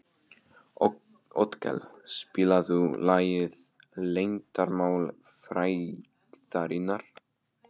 Otkell, spilaðu lagið „Leyndarmál frægðarinnar“.